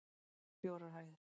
Húsið var fjórar hæðir